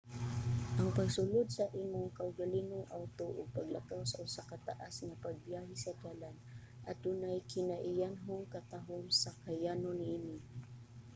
ang pagsulod sa imong kaugalingong awto ug paglakaw sa usa ka taas nga pagbiyahe sa dalan adunay kinaiyanhong katahom sa kayano niini